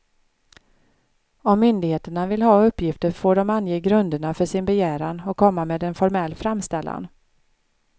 Om myndigheterna vill ha uppgifter får de ange grunderna för sin begäran och komma med en formell framställan.